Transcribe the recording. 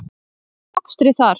Unnið er að mokstri þar.